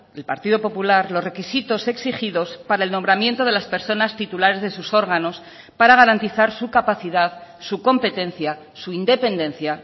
el partido popular los requisitos exigidos para el nombramiento de las personas titulares de sus órganos para garantizar su capacidad su competencia su independencia